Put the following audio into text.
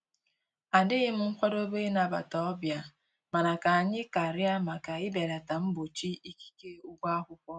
Adịghịm nkwado ị nabata ọbịa mana ka anyị karịa maka ibelata mgbochi ikike ụgwọ akwụkwọ